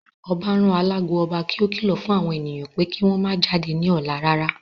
Ọbá rán alágo ọba kí ó kìlọ̀ fún àwọn ènìyàn pé kí wọ́n ó má jáde ní ọ̀la rárá